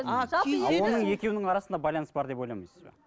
а оның екеуінің арасында байланыс бар ма деп ойламайсыз ба